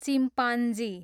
chimpanzee